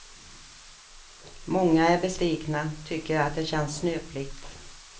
Många är besvikna, tycker att det känns snöpligt.